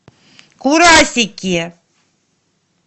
курасики